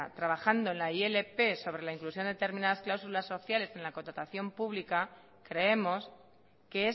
trabajando en la ilp sobre la inclusión de determinadas cláusulas sociales en la contratación pública creemos que